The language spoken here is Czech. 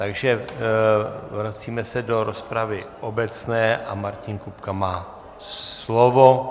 Takže vracíme se do rozpravy obecné a Martin Kupka má slovo.